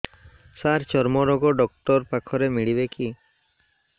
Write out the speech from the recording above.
ସାର ଚର୍ମରୋଗ ଡକ୍ଟର ପାଖରେ ମିଳିବେ କି